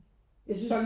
Jeg synes